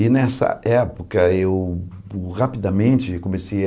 E nessa época eu rapidamente comecei a...